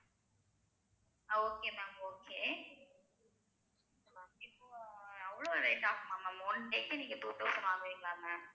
okay ma'am okay இப்போ அவ்ளோ rate ஆகுமா ma'am one day க்கு நீங்க two thousand வாங்குவீங்களா ma'am